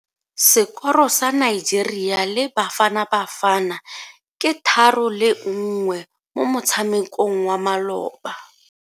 Sekoro sa Nigeria le Bafanabafana ke 3-1 mo motshamekong wa maloba.